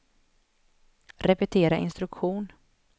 repetera instruktion